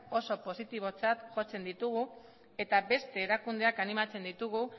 oso positibotzat jotzen ditugu eta beste erakundeak animatzen ditugu